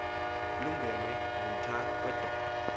lungenwe ngumtha wedolo